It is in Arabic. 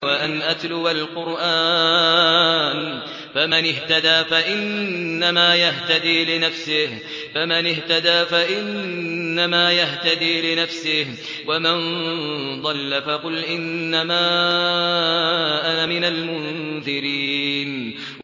وَأَنْ أَتْلُوَ الْقُرْآنَ ۖ فَمَنِ اهْتَدَىٰ فَإِنَّمَا يَهْتَدِي لِنَفْسِهِ ۖ وَمَن ضَلَّ فَقُلْ إِنَّمَا أَنَا مِنَ الْمُنذِرِينَ